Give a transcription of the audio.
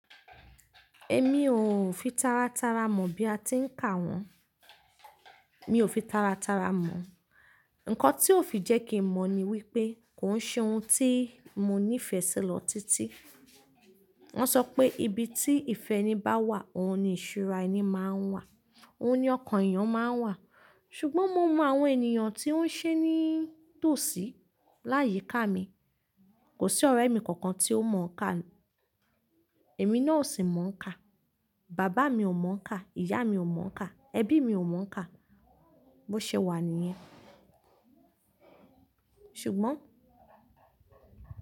Èmi ò fi tara tara mọ̀ bí a ti ń kà wọn. Mi ò fi tara tara mọ̀. Nǹkan tí ó fi jẹ́ kí mo mọ̀ ni wípé kò ń ṣe ohun tí mo nífẹ̀ẹ́ sí lọ títí. Wọ́n sọ pé ibi tí ìfẹ́ni bá wà, òun ni ìṣúra ẹni máa ń wà, òun ni ọkàn èèyàn máa ń wà. Ṣùgbọ́n mo mọ àwọn ènìyàn tí ó ń ṣe ní tòsí láyìí ká mi. Kò sí ọ̀rẹ́ mi kankan tí ó mọ̀ ọ̀kà. Èmi náà ò sì mọ̀ ọ̀kà. Bàbá mi ò mọ̀ ọ̀kà, ìyá mi ò mọ̀ ọ̀kà, ẹbí mi ò mọ̀ ọ̀kà. Bo ṣe wà níyẹn? Ṣùgbọ́n.